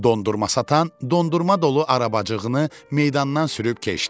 Dondurma satan dondurma dolu arabacığını meydandan sürüb keçdi.